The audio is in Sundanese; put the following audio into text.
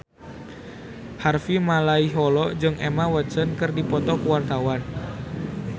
Harvey Malaiholo jeung Emma Watson keur dipoto ku wartawan